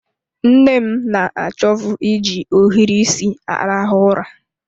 Nne m na achovu iji ohiri isi arahụ ụra.